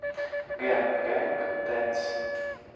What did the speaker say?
гэнг гэнг дэнс